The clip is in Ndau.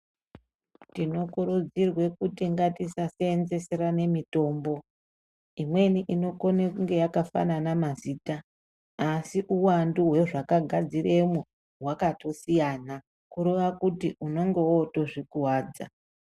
Tinokurudzirwe kuti ngati saseenze serane mitombo. lmweni inokone kunge yakafanana mazita asi uwandu hwezvakagadziremwo hwakatosiyana, kureva kuti unenge wotozvikuwadza.